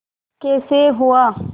कैसे हुआ